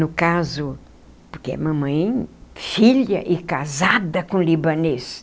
No caso, porque a mamãe, filha e casada com libanês.